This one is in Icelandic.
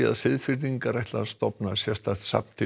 Seyðfirðingar ætla að stofna sérstakt safn til